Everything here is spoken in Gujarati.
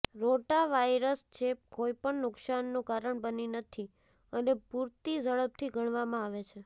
રોટાવાયરસ ચેપ કોઈપણ નુકશાનનું કારણ બની નથી અને પૂરતી ઝડપથી ગણવામાં આવે છે